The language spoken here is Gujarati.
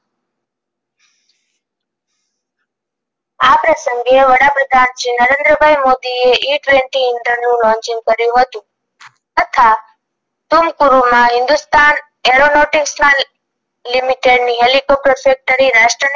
આ પ્રસંગે વડાપ્રધાન શ્રી નરેન્દ્રભાઇ મોદીએ ઇંધન નું launching કર્યું હતું તથા ટૂંકહુરૂ માં હિન્દુસ્તાન aeronotics ના limited ની હેલીકોપ્ટર factory રાષ્ટને